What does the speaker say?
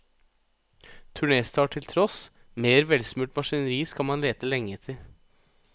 Turnéstart til tross, mer velsmurt maskineri skal man lete lenge etter.